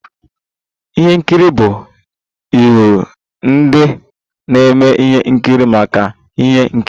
Ihe nkiri bụ ịhọrọ ndị na-eme ihe nkiri maka ihe nkiri.